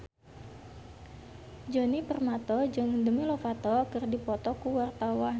Djoni Permato jeung Demi Lovato keur dipoto ku wartawan